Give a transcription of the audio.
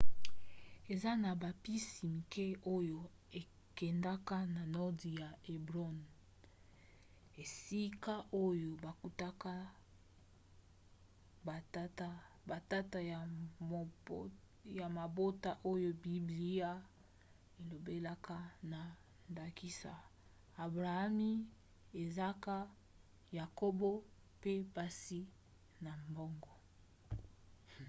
eza na babisi mike oyo ekendaka na nordi na hebron esika oyo bakundaka batata ya mabota oyo biblia elobelaka na ndakisa abrahami izaka yakobo pe basi na bango